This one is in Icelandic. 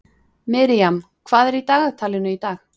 Miriam, hvað er í dagatalinu í dag?